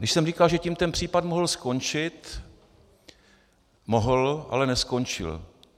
Když jsem říkal, že tím ten případ mohl skončit, mohl, ale neskončil.